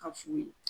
Ka fu ye